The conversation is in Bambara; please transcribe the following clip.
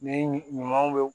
Ni ɲumanw be